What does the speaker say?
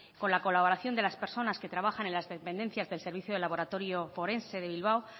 con la colaboración de las personas que trabajan en las dependencias del servicio de laboratorio forense de bilbao